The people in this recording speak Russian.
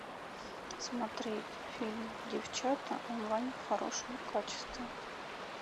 смотреть фильм девчата онлайн в хорошем качестве